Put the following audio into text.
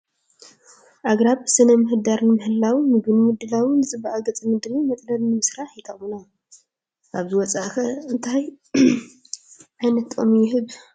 ኣግራብ ስነ ምህዳር ንምሕላው፣ ምግቢ ንምድላው፣ ንፅባቀ ገፀ ምድሪ፣ መፅለሊ ንምስራሕ ይጠቕሙና፡፡ ካብዚ ወፃኢ ኸ ካልእ እንታይ ዓይነት ጥቕሚ ይህቡ?